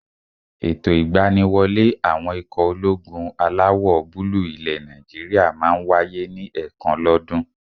Ètò ìgbaniwọlé àwọn ikọ̀ ológun alawọ̀-búúlù ilẹ̀ Nàìjíríyà máa n wáyé ní ẹ̀ẹ̀kan lọ́ dún.